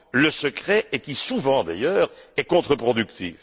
le secret et qui, souvent d'ailleurs, est contreproductive.